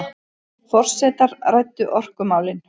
Forsetar ræddu orkumálin